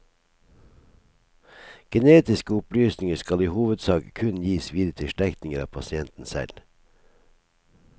Genetiske opplysninger skal i hovedsak kun gis videre til slektninger av pasienten selv.